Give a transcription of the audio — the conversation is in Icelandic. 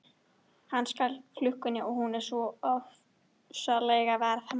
Hann stal klukkunni og hún er sko ofsalega verðmæt.